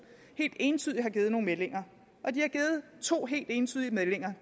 helt entydigt har givet nogle meldinger de har givet to helt entydige meldinger